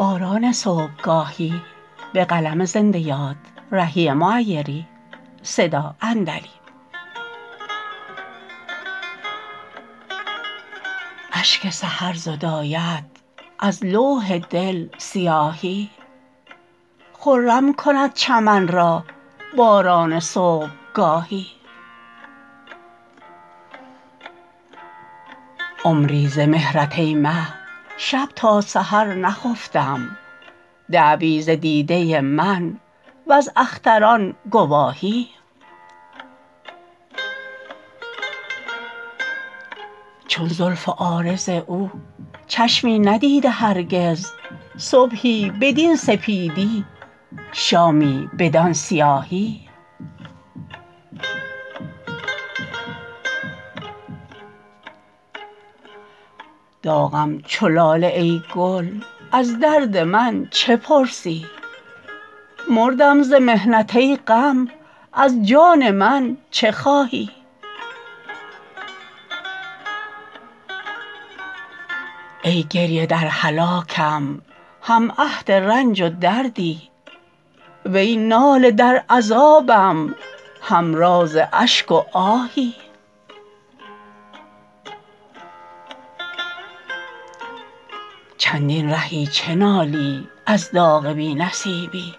اشک سحر زداید از لوح دل سیاهی خرم کند چمن را باران صبحگاهی عمری ز مهرت ای مه شب تا سحر نخفتم دعوی ز دیده من و ز اختران گواهی چون زلف و عارض او چشمی ندیده هرگز صبحی بدین سپیدی شامی بدان سیاهی داغم چو لاله ای گل از درد من چه پرسی مردم ز محنت ای غم از جان من چه خواهی ای گریه در هلاکم هم عهد رنج و دردی وی ناله در عذابم هم راز اشک و آهی چندین رهی چه نالی از داغ بی نصیبی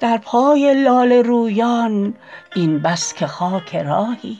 در پای لاله رویان این بس که خاک راهی